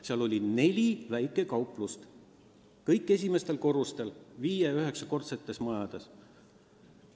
Seal oli neli väikekauplust, kõik esimesel korrusel viie- ja üheksakordsetes majades.